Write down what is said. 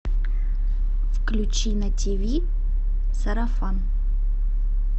включи на тв сарафан